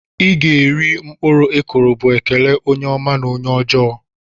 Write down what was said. "Iga eri uru mkpụrụ ikụrụ" bu ekele onye ọma na onye ọjọ.